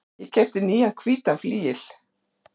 Ég keypti nýjan hvítan flygil.